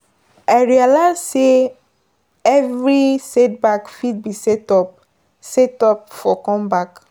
I realize say every setback fit be setup setup for comeback.